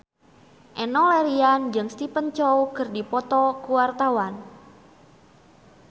Enno Lerian jeung Stephen Chow keur dipoto ku wartawan